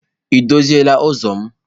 Ị doziri ụzọ m?